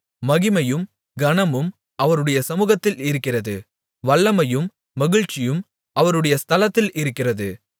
மகிமையும் கனமும் அவருடைய சமூகத்தில் இருக்கிறது வல்லமையும் மகிழ்ச்சியும் அவருடைய ஸ்தலத்தில் இருக்கிறது